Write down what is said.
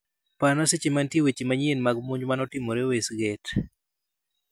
Parna seche mantie weche manyien mag monj manotimore westgate